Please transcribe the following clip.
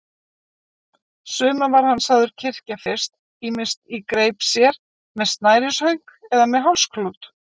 Suma var hann sagður kyrkja fyrst, ýmist í greip sér, með snærishönk eða með hálsklút.